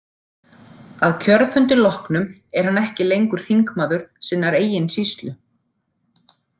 Að kjörfundi loknum er hann ekki lengur þingmaður sinnar eigin sýslu.